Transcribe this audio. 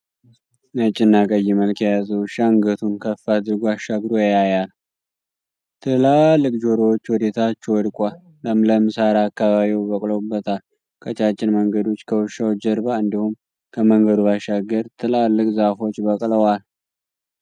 ነጭና ቀይ መልክ የያዘ ዉሻ አንገቱን ከፍ አድርጎ አሻግሮ ያያያል። ትላልቅ ጆሮዎቹ ወደ ታች ወድቋል። ለምለም ሳር አካባቢዉ በቅሎበታል። ቀጫጭን መንገዶች ከዉሻዉ ጀርባ እንዲሁም ከመንገዱ ባሻገር ትላልቅ ዛፎች በቅለዋል።